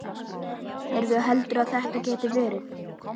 Heyrðu. heldurðu að þetta geti verið.